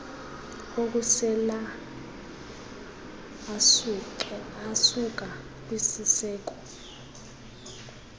okusela asuka kwisiseko